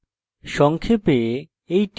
সংক্ষেপে